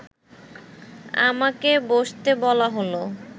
আমাকে বসতে বলা হলো